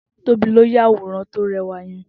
Tobi ló yàwórán tó rẹwá yèn